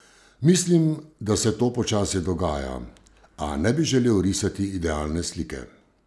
Mislim, da se to počasi dogaja, a ne bi želel risati idealne slike.